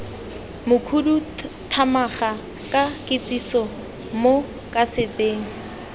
mokhuduthamaga ka kitsiso mo kaseteng